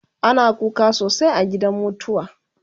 ana kuka sosai a gidan mutuwa